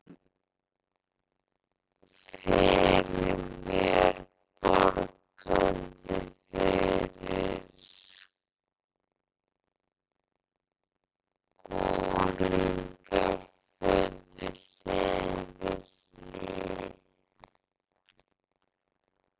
Sá okkur fyrir mér bograndi yfir skúringafötu, hlið við hlið.